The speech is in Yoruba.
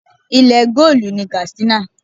Ilẹ̀ goolu ni Katsina.